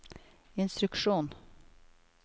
instruksjon